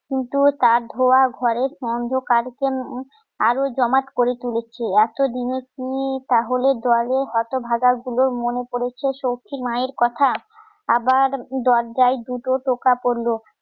কিন্তু তার ধোঁয়া ঘরের অন্ধকারকে আরও জমাট করে তুলেছে এতো দিনে তালে দলের হতভাগা গুলোর মনে পরেছে সখির মায়ের কথা আবার দরজায় দুটো টোকা পরল